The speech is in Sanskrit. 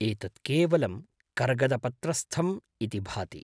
एतत् केवलं कर्गदपत्रस्थम् इति भाति।